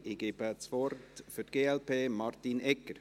Ich gebe das Wort für die glp Martin Egger.